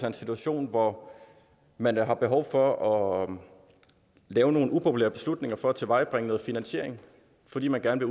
en situation hvor man har behov for at lave nogle upopulære beslutninger for at tilvejebringe noget finansiering fordi man gerne